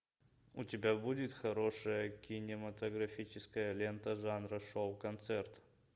у тебя будет хорошая кинематографическая лента жанра шоу концерт